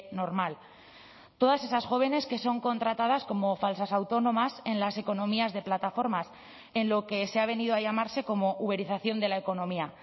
normal todas esas jóvenes que son contratadas como falsas autónomas en las economías de plataformas en lo que se ha venido a llamarse como uberización de la economía